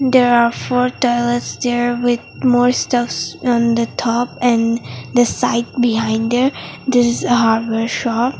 there are four toilets there with more stuffs on the thop and side behind there there is a hardware shop.